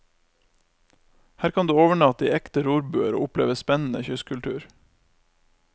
Her kan du overnatte i ekte rorbuer og oppleve spennende kystkultur.